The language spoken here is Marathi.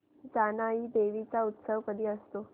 जानाई देवी चा उत्सव कधी असतो